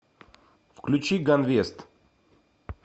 включи ганвест